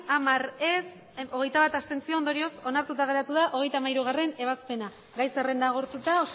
berrogeita bi ez hamar abstentzioak hogeita bat ondorioz onartuta geratu da hogeita hamairugarrena ebazpena gai zerrenda agortuta